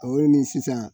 O ni sisan